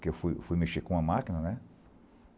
que eu fui fui mexer com uma máquina, né?